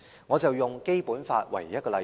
我以《基本法》作為例子。